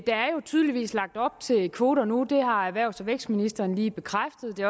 tydeligvis lagt op til kvoter nu det har erhvervs og vækstministeren lige bekræftet og det